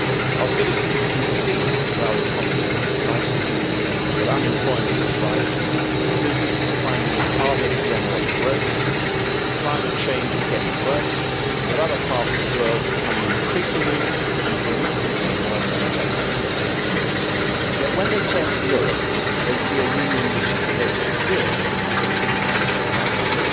Our citizens can see that our economies are in crisis, that unemployment is rising, that businesses are finding it harder to generate growth, that climate change is getting worse and that other parts of the world are becoming increasingly and dramatically more competitive. Yet, when they turn to Europe, they find a Union which has devoted years to this institutional wrangling.